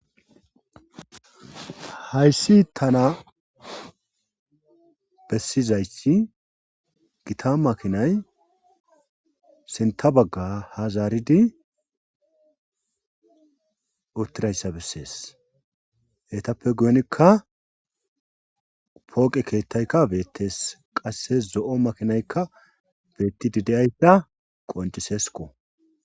Hayssi tana bessizayi gita makinay senta bagga hazaaridi uttirayssa bessees heytappe guyonikka pooqe keettaykka beettees qasses zo'o makinaykka beetti dide7aypea qoncisesko.